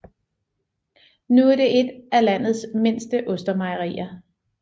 Nu er det et af landets mindste ostemejerier